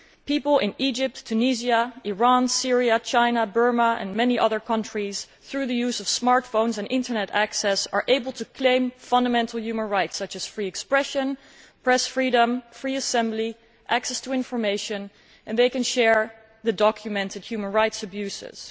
People in Egypt, Tunisia, Iran, Syria, China, Burma and many other countries, through the use of smart phones and internet access, are able to claim fundamental human rights such as free expression, press freedom, free assembly and access to information, and they can share documented human rights abuses.